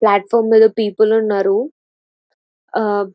plot form మీద people ఉన్నారు.ఆ--